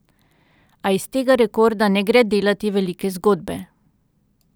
A iz tega rekorda ne gre delati velike zgodbe.